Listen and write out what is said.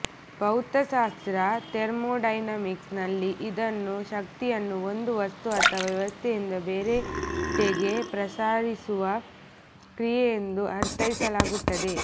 ಭೌತಶಾಸ್ತ್ರ ಥೆರ್ಮೋಡೈನಾಮಿಕ್ಸ್ ನಲ್ಲಿ ಇದನ್ನು ಶಕ್ತಿಯನ್ನು ಒಂದು ವಸ್ತು ಅಥವಾ ವ್ಯವಸ್ಥೆಯಿಂದ ಬೇರೆಡೆಗೆ ಪ್ರಸಾರಿಸುವ ಕ್ರಿಯೆಯೆಂದು ಅರ್ಥೈಸಲಾಗುತ್ತದೆ